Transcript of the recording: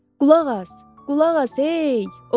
Qulaq as, qulaq as, hey!